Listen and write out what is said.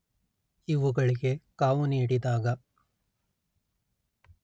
ಇವುಗಳಿಗೆ ಕಾವು ನೀಡಿದಾಗ